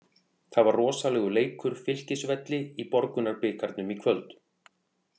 Það var rosalegur leikur Fylkisvelli í Borgunarbikarnum í kvöld.